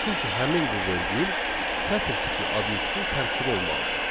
Çünki həmin bu vergül sətir tipli obyektin tərkibi olmalıdır.